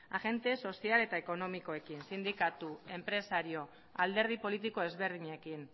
agente sozial eta ekonomikoekin sindikatu enpresari eta alderdi politiko ezberdinekin